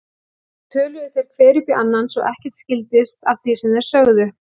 Svo töluðu þeir hver upp í annan svo ekkert skildist af því sem þeir sögðu.